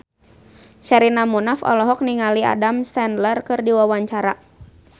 Sherina Munaf olohok ningali Adam Sandler keur diwawancara